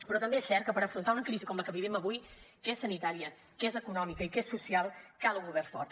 però també és cert que per afrontar una crisi com la que vivim avui que és sanitària que és econòmica i que és social cal un govern fort